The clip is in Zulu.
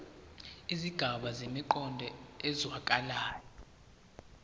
izigaba zinemiqondo ezwakalayo